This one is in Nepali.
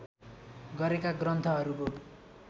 गरेका ग्रन्थहरूको